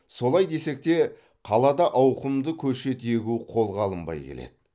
солай десек те қалада ауқымды көшет егу қолға алынбай келеді